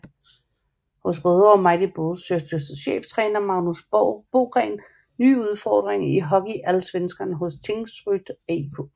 Hos Rødovre Mighty Bulls søgte cheftræner Magnus Bogren nye udfordringer i HockeyAllsvenskan hos Tingsryd AIK